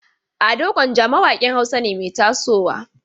Ado Gwanja mawaƙin Hausa ne mai tasowa.